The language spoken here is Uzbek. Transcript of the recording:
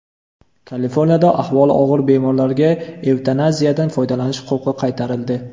Kaliforniyada ahvoli og‘ir bemorlarga evtanaziyadan foydalanish huquqi qaytarildi.